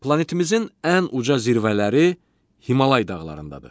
Planetimizin ən uca zirvələri Himalay dağlarındadır.